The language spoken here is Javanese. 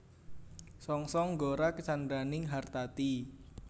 Songsong gora candraning hartati